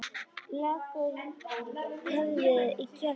Leggur höfuðið í kjöltu hennar.